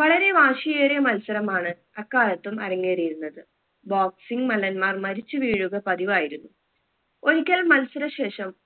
വളരെ വാശിയേറിയ മത്സരമാണ് അക്കാലത്തും അരങ്ങേറിയിരുന്നത് boxing മല്ലന്മാർ മരിച്ചു വീഴുക പതിവായിരുന്നു ഒരിക്കൽ മത്സര ശേഷം